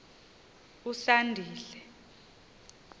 usandile